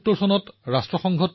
শুনক অটলজীৰ তেজস্বী কণ্ঠ